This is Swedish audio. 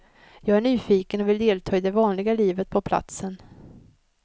Jag är nyfiken och vill delta i det vanliga livet på platsen.